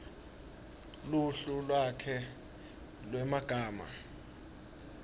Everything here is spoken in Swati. luhlu lwakhe lwemagama